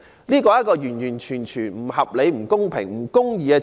這是完完全全不合理、不公平及不公義的機制。